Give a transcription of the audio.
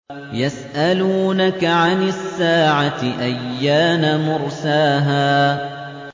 يَسْأَلُونَكَ عَنِ السَّاعَةِ أَيَّانَ مُرْسَاهَا